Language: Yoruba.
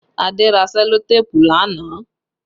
Adé ra sẹlotéépù lánàá